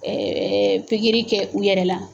pikiri kɛ u yɛrɛ la